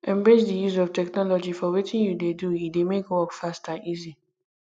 embrace di use of technology for wetin you dey do e dey make work fast and easy